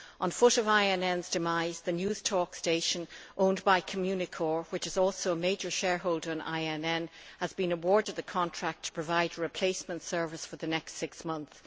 On foot of INN's demise, the Newstalk station owned by Communicorp which is also a major shareholder in INN has been awarded the contract to provide a replacement service for the next six months.